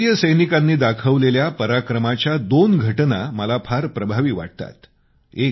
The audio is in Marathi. आपल्या भारतीय सैनिकांनी दाखवलेल्या पराक्रमाच्या दोन घटना मला फार प्रभावी वाटतात